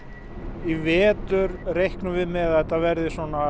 í vetur reiknum við með því að þetta verði